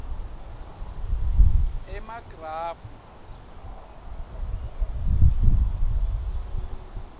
emagrafu